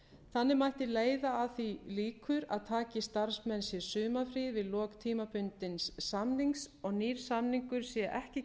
þannig mætti leiða að því líkur að taki starfsmenn sér sumarfrí við lok tímabundins samnings og nýr samningur sé ekki